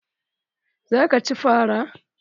Za ka ci fara?